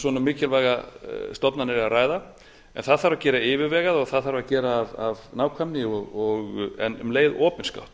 svona mikilvægar stofnanir er að ræða en það þarf að gera yfirvegað og það þarf að gera af nákvæmni en um leið opinskátt